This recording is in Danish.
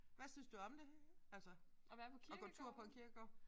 Hvad synes du om det? Altså at gå tur på en kirkegård